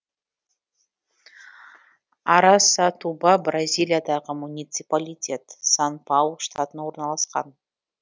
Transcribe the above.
арасатуба бразилиядағы муниципалитет сан паулу штатында орналасқан